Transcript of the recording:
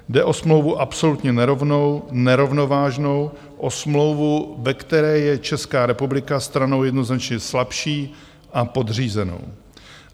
Jde o smlouvu absolutně nerovnou, nerovnovážnou, o smlouvu, ve které je Česká republika stranou jednoznačně slabší a podřízenou.